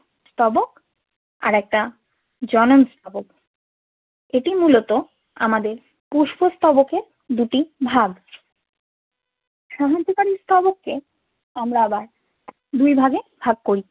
স্তবক আরেকটা জনন স্তবক। এটি মূলত আমাদের পুষ্প স্তবকের দুটি ভাগ সাহায্যকারী স্তবককে আমরা আবার দুই ভাগে ভাগ করি।